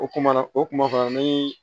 O kuma na o kuma ni